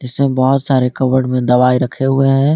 इसमें बहुत सारे कबड़ में दवाई रखे हुए है।